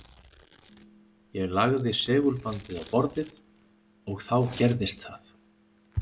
Ég lagði segulbandið á borðið. og þá gerðist það.